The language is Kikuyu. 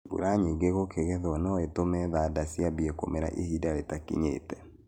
Mbura nyingĩ gũkĩgethwo nũĩtũme thanda ciambie kũmera ininda rĩtakinyĩte.